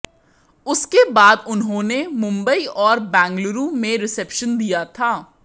उसके बाद उन्होंने मुंबई और बंगलुरु में रिसेप्शन दिया था